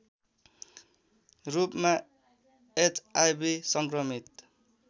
रूपमा एचआईभी संक्रमित